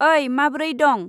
ओइ, माब्रै दं?